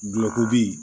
Dulɔki